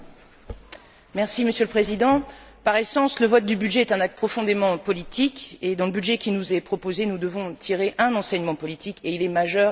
Monsieur le Président, par essence, le vote du budget est un acte profondément politique et, dans le budget qui nous est proposé, nous devons en tirer un enseignement politique, qui est majeur, qui est fondamental.